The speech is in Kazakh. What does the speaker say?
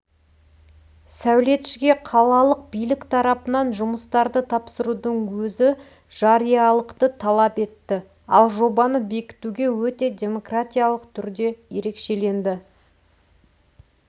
сәулетшіге қалалық билік тарапынан жұмыстарды тапсырудың өзі жариялылықты талап етті ал жобаны бекіту өте демократиялық түрде ерекшеленді